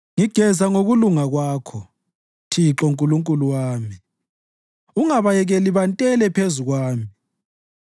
Ngigeza ngokulunga Kwakho, Thixo, Nkulunkulu wami; ungabayekeli bantele phezu kwami.